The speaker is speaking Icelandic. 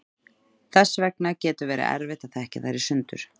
þess vegna getur verið erfitt að þekkja þær í sundur